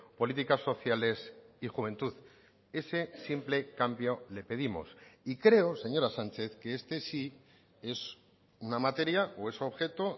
políticas sociales y juventud ese simple cambio le pedimos y creo señora sánchez que este sí es una materia o es objeto